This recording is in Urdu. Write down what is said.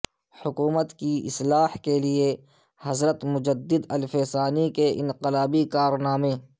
حکومت کی اصلاح کے لئے حضرت مجددالف ثانی کے انقلابی کارنامے